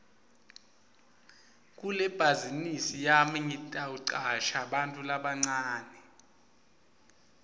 kulebhazinisi yami ngitawucasha bantfu labancane